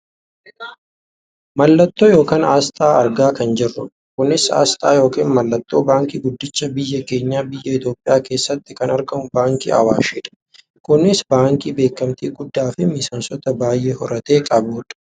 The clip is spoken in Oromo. Mallattoo yookaan aasxaa argaa kan jirrudha. Kunis aasxaa yookaan mallattoo baankii guddicha biyya keenya biyya Itoopiyaa keessatti kan argamu kan baankii Awaashidha. Kunis baankii beekkamtii guddaafi miseensota baayyee horatee qabudha.